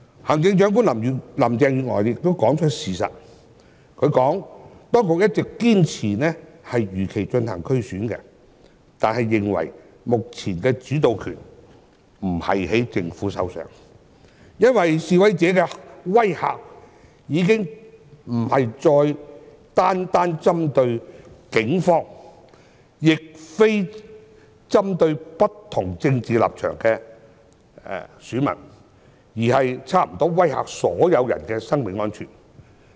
行政長官林鄭月娥也說出事實，她表示當局一直堅持如期進行區議會選舉，但認為目前的主導權不在政府的手上，因為示威者的威嚇已經不再單單針對警方，亦非單單針對不同政治立場的選民，而是差不多威嚇所有人的生命安全。